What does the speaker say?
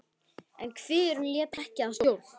En kviðurinn lét ekki að stjórn.